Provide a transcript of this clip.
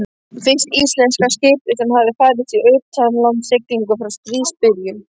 Fyrsta íslenska skipið sem hafði farist í utanlandssiglingum frá stríðsbyrjun.